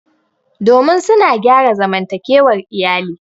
domin suna gyara zamantakewar iyali